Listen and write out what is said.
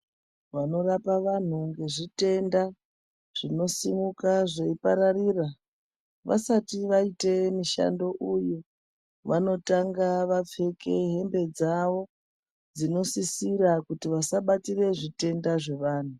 Vanorapa vanhu zvitenda , zvinosimuka nzveipararira , vasati vaite mushando uyu , vanotanga vapfeke hembe dzavo dzinosisira kuti vasabatira zvitenda zvevanhu.